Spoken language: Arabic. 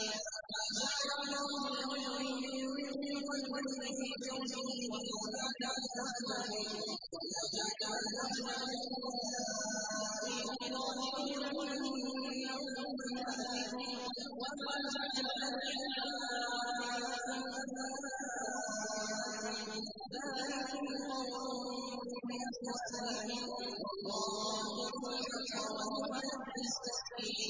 مَّا جَعَلَ اللَّهُ لِرَجُلٍ مِّن قَلْبَيْنِ فِي جَوْفِهِ ۚ وَمَا جَعَلَ أَزْوَاجَكُمُ اللَّائِي تُظَاهِرُونَ مِنْهُنَّ أُمَّهَاتِكُمْ ۚ وَمَا جَعَلَ أَدْعِيَاءَكُمْ أَبْنَاءَكُمْ ۚ ذَٰلِكُمْ قَوْلُكُم بِأَفْوَاهِكُمْ ۖ وَاللَّهُ يَقُولُ الْحَقَّ وَهُوَ يَهْدِي السَّبِيلَ